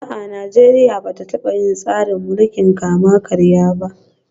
A'a, Najeriya ba ta taba yin tsarin mulkin kama karya ba